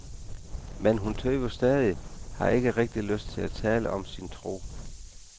Men hun tøver stadig, har ikke rigtig lyst til at tale om sin tro.